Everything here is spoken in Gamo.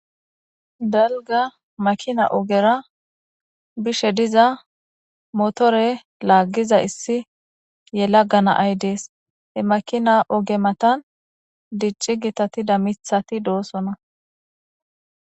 dalga makina ogera bishe diza motore laaggiza issi yelaga na'ay dees he makina oge matan dicci gitatida mithati doosona